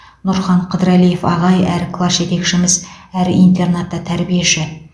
нұрхан қыдырәлиев ағай әрі класс жетекшіміз әрі интернатта тәрбиеші